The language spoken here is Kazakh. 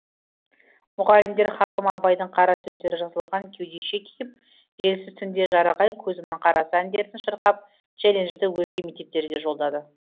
мұғалімдер хакім абайдың қара сөздері жазылған кеудеше киіп желсіз түнде жарық ай көзімнің қарасы әндерін шырқап челленджді өзге мектептерге жолдады